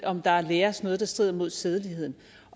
om der læres noget der strider imod sædeligheden